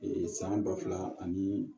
san ba fila ani